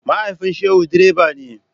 Mahaifin Shehu direba ne.